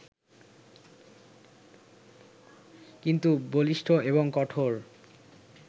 কিন্তু বলিষ্ঠ এবং কঠোর